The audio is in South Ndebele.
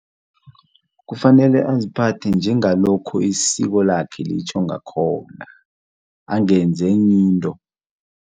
Kufanele aziphathe njengalokho isiko lakhe litjho ngakhona angenzi enye into.